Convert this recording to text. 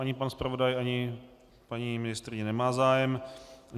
Ani pan zpravodaj ani paní ministryně nemají zájem.